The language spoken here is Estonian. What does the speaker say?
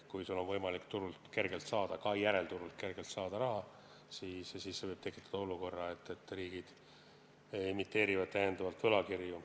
Kui sul on võimalik turult kergelt raha saada, ka järelturult kergelt raha saada, siis see võib tekitada olukorra, kus riigid emiteerivad täiendavalt võlakirju.